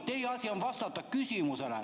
Teie asi on vastata küsimusele.